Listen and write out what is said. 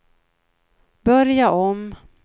börja om